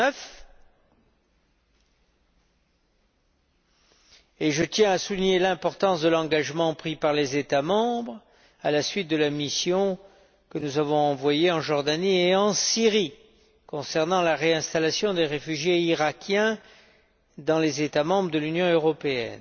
2009. Je tiens, à cet égard, à souligner l'importance de l'engagement pris par les États membres à la suite de la mission que nous avons envoyée en Jordanie et en Syrie concernant la réinstallation des réfugiés irakiens dans les États membres de l'Union européenne.